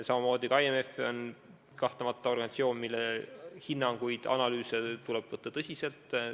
Ka IMF on kahtlemata organisatsioon, mille hinnanguid ja analüüse tuleb võtta tõsiselt.